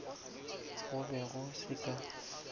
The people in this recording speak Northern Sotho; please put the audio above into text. go be go se ka